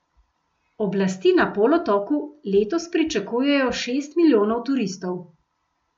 Oblasti na polotoku letos pričakujejo šest milijonov turistov.